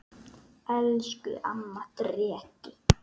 Elsku amma Dreki.